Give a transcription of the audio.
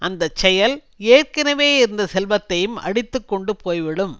அந்த செயல் ஏற்கனவே இருந்த செல்வத்தையும் அடித்து கொண்டு போய்விடும்